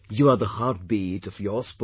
You are the heartbeat of your sport